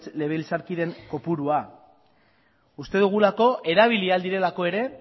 legebiltzarkideen kopurua uste dugulako erabili ahal direlako ere